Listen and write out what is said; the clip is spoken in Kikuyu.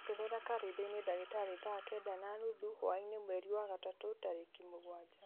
ongerera karenda-inĩ ndagĩtarĩ thaa kenda na nuthu hwaĩ-inĩ mweri wa gatatũ tarĩki mũgwanja